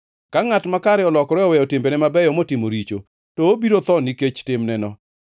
Ka ngʼat makare olokore oweyo timbene mabeyo motimo richo, to obiro tho nikech timneno.